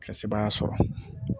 Ka sebaaya sɔrɔ